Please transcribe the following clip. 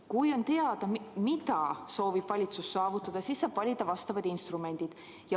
Kui on teada, mida valitsus soovib saavutada, siis saab valida vastavad instrumendid.